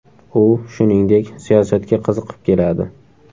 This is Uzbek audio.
U, shuningdek, siyosatga qiziqib keladi.